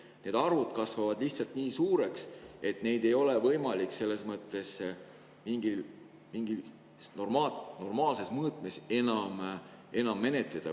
Need arvud kasvavad lihtsalt nii suureks, et neid ei ole võimalik selles mõttes mingis normaalses mõõtmes enam menetleda.